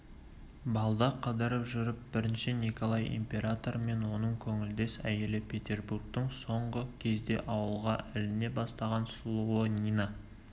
балда қыдырып жүріп бірінші николай императоры мен оның көңілдес әйелі петербургтың соңғы кезде ауызға іліне бастаған сұлуы нина